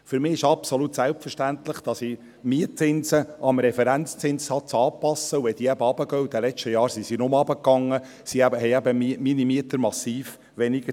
Für mich ist es absolut selbstverständlich, dass ich Mietzinse dem Referenzzinssatz anpasse, und wenn diese heruntergehen – in den letzten Jahren sind diese nur gesunken –, zahlen meine Mieter massiv weniger.